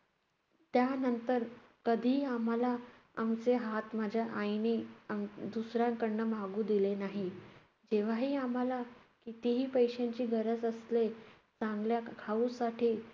त्यानंतर कधीही आम्हाला आमचे हात माझ्या आईने अं दुसऱ्यांकडनं मागू दिले नाही. तेव्हाही आम्हाला कितीही पैशांची गरज असले, चांगल्या ख~ खाऊसाठी